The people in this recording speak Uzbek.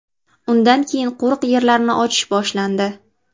Undan keyin qo‘riq yerlarni ochish boshlandi.